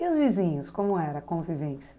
E os vizinhos, como era a convivência?